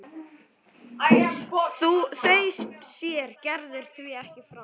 Þau sér Gerður því ekki framar.